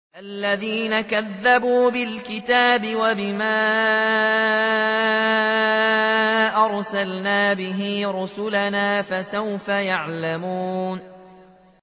الَّذِينَ كَذَّبُوا بِالْكِتَابِ وَبِمَا أَرْسَلْنَا بِهِ رُسُلَنَا ۖ فَسَوْفَ يَعْلَمُونَ